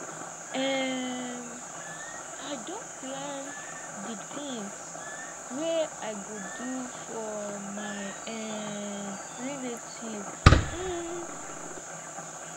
um i don plan di tins wey i go do for my um relatives um